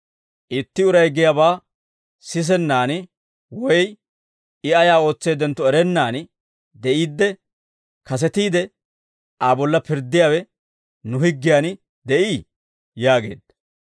«Itti uray giyaabaa sisennaan woy I ayaa ootseeddentto erennaan de'iidde, kasetiide Aa bolla pirddiyaawe nu higgiyan de'ii?» yaageedda.